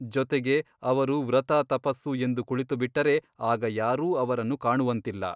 ಜೊತೆಗೆ ಅವರು ವ್ರತ ತಪಸ್ಸು ಎಂದು ಕುಳಿತುಬಿಟ್ಟರೆ ಆಗ ಯಾರೂ ಅವರನ್ನು ಕಾಣುವಂತಿಲ್ಲ.